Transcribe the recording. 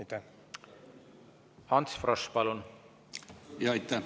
Ants Frosch, palun!